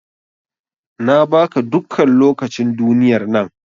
Na ba ka dukkan lokacin duniyar nan.